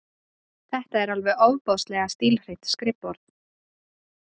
Þetta er alveg ofboðslega stílhreint skrifborð!